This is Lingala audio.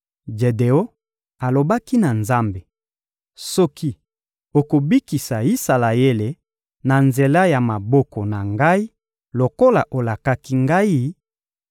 Jedeon alobaki na Nzambe: «Soki okobikisa Isalaele na nzela ya maboko na ngai lokola olakaki ngai,